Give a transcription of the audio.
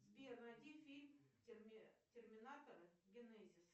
сбер найди фильм терминатор генезис